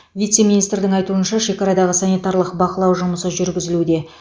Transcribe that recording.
вице министрдің айтуынша шекарадағы санитарлық бақылау жұмысы жүргізілуде